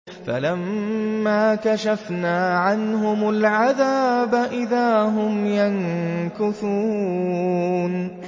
فَلَمَّا كَشَفْنَا عَنْهُمُ الْعَذَابَ إِذَا هُمْ يَنكُثُونَ